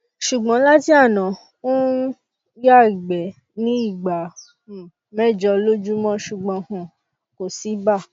ṣùgbọn láti àná ó ń um ya igbe ní ìgbà um mẹjọ lójúmọ ṣùgbọn um kò sí ibà